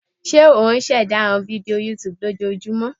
Ṣe o ṣẹda awọn fidio YouTube lojoojumọ?